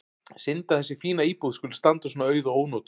Synd að þessi fína íbúð skuli standa svona auð og ónotuð.